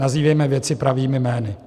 Nazývejme věci pravými jmény.